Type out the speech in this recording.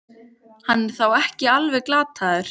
Hann er þá ekki alveg glataður!